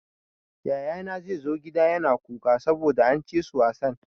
Yayana ya zo gida yana kuka saboda an ci su wasan.